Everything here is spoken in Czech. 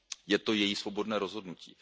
Je to její svobodné rozhodnutí.